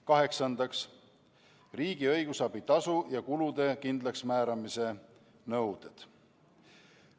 Kaheksandaks, riigi õigusabi tasu ja kulude kindlaksmääramise nõuded.